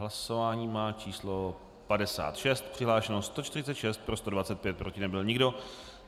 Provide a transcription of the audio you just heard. Hlasování má číslo 56, přihlášeno 146, pro 125, proti nebyl nikdo.